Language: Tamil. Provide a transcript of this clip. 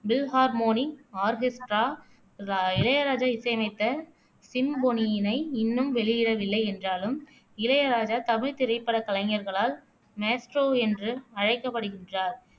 ஃபில்ஹார்மோனிக் ஆர்கெஸ்டிரா ரா இளையராஜா இசையமைத்த சிம்பொனியினை இன்னும் வெளியிடவில்லை என்றாலும் இளையராஜா தமிழ் திரைப்படக் கலைஞர்களால் மேஸ்ட்ரோ என்று அழைக்கப்படுகின்றார்